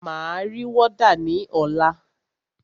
Máa ri wọ́dà ní ọ̀la.